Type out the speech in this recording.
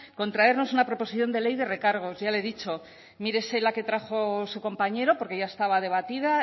con traernos una proposición de ley de recargos ya le he dicho mírese la que trajo su compañero porque ya estaba debatida